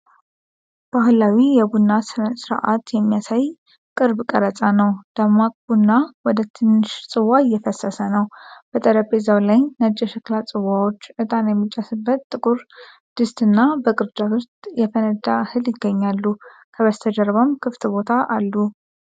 ባህላዊ የቡና ሥነ ሥርዓት የሚያሳይ ቅርብ ቀረጻ ነው። ደማቅ ቡና ወደ ትንሽ ጽዋ እየፈሰሰ ነው። በጠረጴዛው ላይ ነጭ የሸክላ ጽዋዎች፣ ዕጣን የሚጨስበት ጥቁር ድስት እና በቅርጫት ውስጥ የፈነዳ እህል ይገኛሉ፤ ከበስተጀርባም ክፍት ቦታ አሉ።